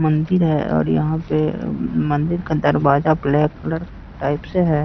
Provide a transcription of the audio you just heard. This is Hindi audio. मंदिर है और यहां पे मंदिर का दरवाजा ब्लैक कलर टाइप से है।